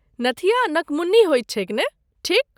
नथिया नकमुन्नी होइत छैक ने, ठीक?